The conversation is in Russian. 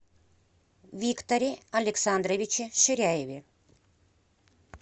викторе александровиче ширяеве